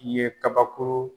I ye kabakuru